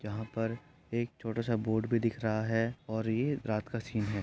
यहाँ पर एक छोटा सा बोर्ड भी दिख रहा है और ये रात का सीन है।